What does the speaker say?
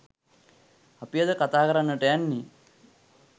අපි අද කතා කරන්නට යන්නේ.